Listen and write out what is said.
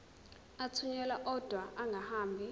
athunyelwa odwa angahambi